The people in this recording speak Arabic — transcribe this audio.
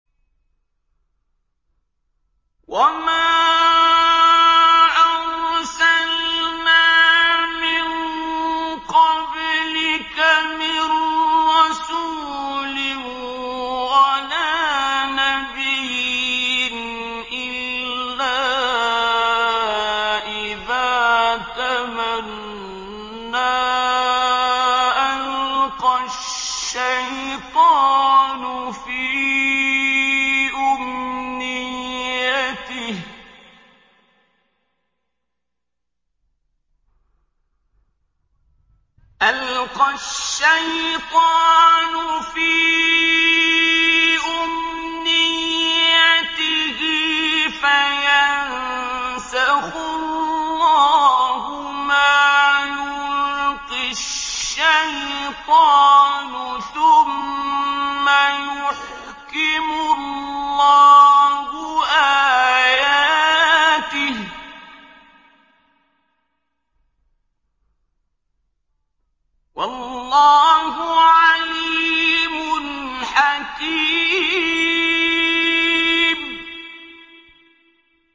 وَمَا أَرْسَلْنَا مِن قَبْلِكَ مِن رَّسُولٍ وَلَا نَبِيٍّ إِلَّا إِذَا تَمَنَّىٰ أَلْقَى الشَّيْطَانُ فِي أُمْنِيَّتِهِ فَيَنسَخُ اللَّهُ مَا يُلْقِي الشَّيْطَانُ ثُمَّ يُحْكِمُ اللَّهُ آيَاتِهِ ۗ وَاللَّهُ عَلِيمٌ حَكِيمٌ